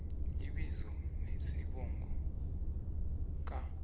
ibizo nesibongo ka